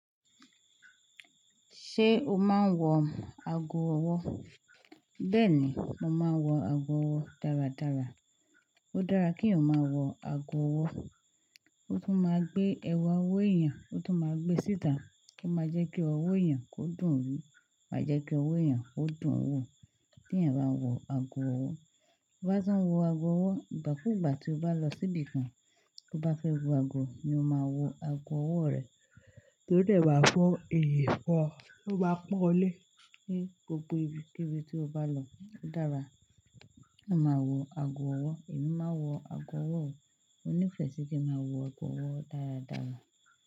Ṣé o máa ń wọ ago ọwọ́? Bẹ́ẹ̀ ni, mo máa ń wọ ago ọwọ́ dáradára. Ó dára kí o èèyàn ma wọ ago ọwọ́, ó tún máa gbé ẹwà owó èèyàn, ó tún máa gbé síta kí ó máa jẹ́ kí owó èèyàn kó dùn ún rí, á jẹ́ kí owó èèyàn ó dùn ún wò tí èèyàn bá wọ ago ọwọ́. Bí bá tín wọ ago ọwọ́, ìgbàkúùgbà tí o bá lọ síbi kan, bí ó bá fẹ́ wo ago ni o máa wo ago ọwọ́ rẹ, kí ó dẹ̀ wá fọ́ iyìn fun ọ ó bá pọ́n lé é gbogbo ibi, kíbì tí o bá lọ. Ó dára kí o má wọ ago ọwọ́. Èmi má wọ ago ọwọ́ o. Mo nífẹ̀ẹ́ sí kí n máa wọ ago ọwọ́ dáradára.